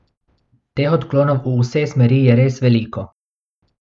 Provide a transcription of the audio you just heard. Teh odklonov v vse smeri je res veliko.